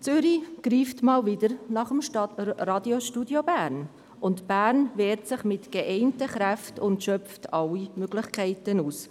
Zürich greift wieder einmal nach dem Radiostudio Bern, und Bern wehrt sich mit vereinten Kräften und schöpft alle Möglichkeiten aus.